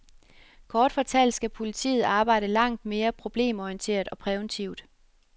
Kort fortalt skal politiet arbejde langt mere problemorienteret og præventivt.